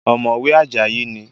Ọ̀mọ̀wé Àjàyí ni